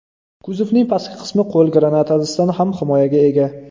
Kuzovning pastki qismi qo‘l granatasidan ham himoyaga ega.